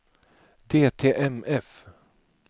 DTMF